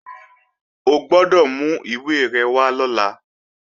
O gbọ́dọ̀ mú ìwé rẹ̀ wá lọ́la!